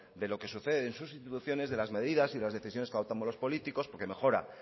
de lo que sucede en sus instituciones de las medidas y de las decisiones que adoptamos los políticos porque mejora